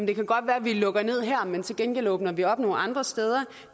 det kan godt være vi lukker ned her men til gengæld åbner vi op nogle andre steder